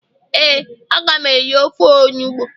ee, a ga m eri ofe onugbu